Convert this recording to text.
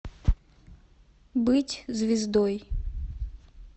быть звездой